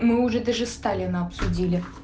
мы уже даже сталина обсудили